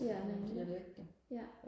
ja nemlig ja